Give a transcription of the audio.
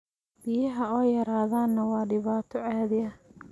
Biyaha oo yaradhaana waa dhibaato caadi ah.